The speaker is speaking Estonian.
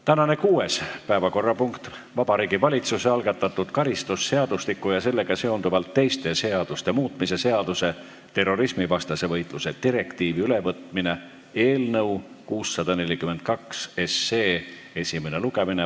Tänane kuues päevakorrapunkt: Vabariigi Valitsuse algatatud karistusseadustiku ja sellega seonduvalt teiste seaduste muutmise seaduse eelnõu 642 esimene lugemine.